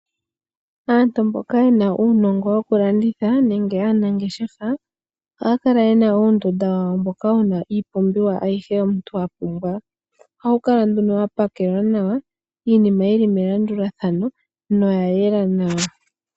Aantu mboka yena uunongo woku landitha nenge aanangeshefa, ohaya kala yena uundunda wawo mboka wuna iipumbiwa ayihe omuntu a pumbwa. Oha wu kala nduno wa pakelwa nawa iinima yi li melandulathano noya yela nawa.